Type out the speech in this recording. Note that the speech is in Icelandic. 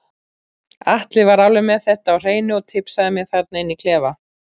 Atli var alveg með þetta á hreinu og tipsaði mig þarna inni í klefa.